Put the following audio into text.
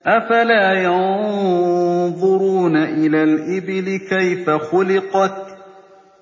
أَفَلَا يَنظُرُونَ إِلَى الْإِبِلِ كَيْفَ خُلِقَتْ